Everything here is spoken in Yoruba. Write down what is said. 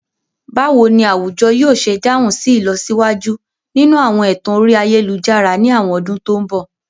Báwo ni àwùjọ yóò ṣe dáhùn sí ìlọsíwájú nínú àwọn ẹ̀tàn orí ayélujára ní àwọn ọdún tó ń bọ̀?